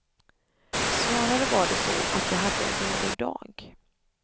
Snarare var det så att jag hade en dålig dag.